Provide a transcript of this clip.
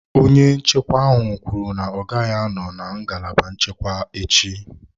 Onye nchekwa ahụ kwuru na ya agaghị anọ na ngalaba nchekwa echi.